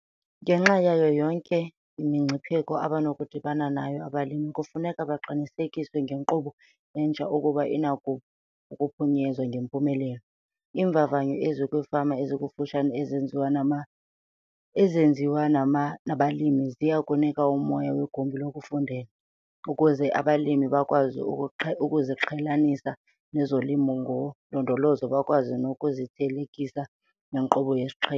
Ngenxa yayo yonke imingcipheko abanokudibana nayo abalimi kufuneka baqinisekiswe ngenkqubo entsha ukuba inako ukuphunyezwa ngempumelelo. Iimvavanyo ezikwiifama ezikufutshane ezenziwa nabalimi ziya kunika umoya "wegumbi lokufundela" ukuze abalimi bakwazi ukuziqhelanisa nezoLimo ngoLondolozo bakwazi nokuzithelekisa nenkqubo yesiqhelo.